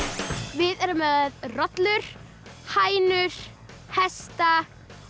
við erum með rollur hænur hesta